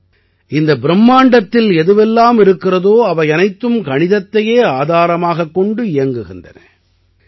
அதாவது இந்த பிரும்மாண்டத்தில் எதுவெல்லாம் இருக்கிறதோ அவை அனைத்தும் கணிதத்தையே ஆதாரமாகக் கொண்டு இயங்குகின்றன